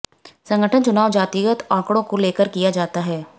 संगठन चुनाव जातिगत आॅकडो को लेकर किया जाता है